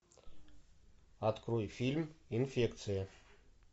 открой фильм инфекция